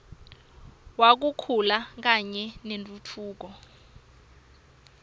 wekukhula kanye nentfutfuko